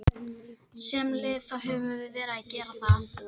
Sem lið þá höfum við verið að gera það.